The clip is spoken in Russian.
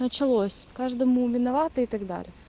началось каждому виноваты и так далее